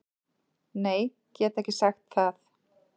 Nei, get ekki sagt það